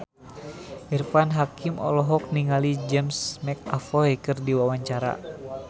Irfan Hakim olohok ningali James McAvoy keur diwawancara